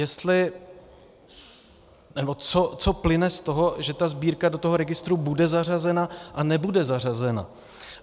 Jestli nebo co plyne z toho, že ta sbírka do toho registru bude zařazena a nebude zařazena.